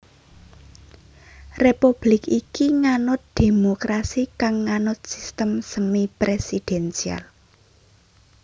Republik iki nganut dhémokrasi kang nganut sistem semi presidensial